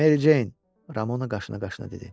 Mericeyn Ramona qaşını qaşına dedi.